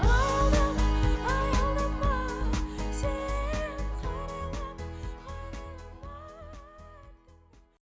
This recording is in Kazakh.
аялдама аялдама сен